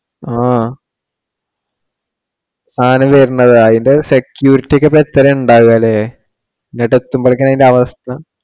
ആഹ് സാധനം വരണതാ. അതിന്റെ security ഒക്കെ ഇപ്പൊ എത്രയാ ഉണ്ടാവുക അല്ലെ? ഇങ്ങോട്ടു എത്തുമ്പോഴത്തേക്ക് അതിന്റെ അവസ്ഥ